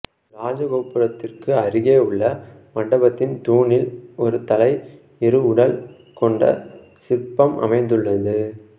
இராஜகோபுரத்திற்கு அருகே உள்ள மண்டபத்தின் தூணில் ஒரு தலை இரு உடல் கொண்ட சிற்பம் அமைந்துள்ளது